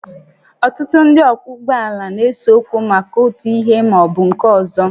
Ọtụtụ ndị ọkwọ ụgbọala na-ese okwu maka otu ihe ma ọ bụ nke ọzọ